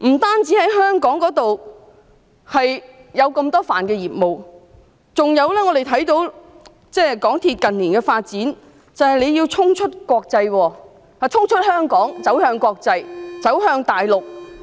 港鐵公司不單在香港有這麼多範疇的業務，我們還看到它近年的發展，因為它要衝出香港，走向國際，走向大陸。